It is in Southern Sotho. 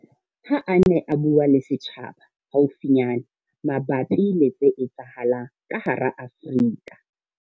Ha a ne a bua le setjhaba haufinyana mabapi le tse etsahalang ka hara Afrika.